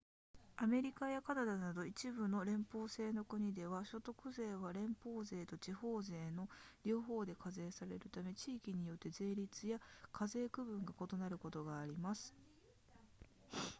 アメリカやカナダなど一部の連邦制の国では所得税は連邦税と地方税の両方で課税されるため地域によって税率や課税区分が異なることがあります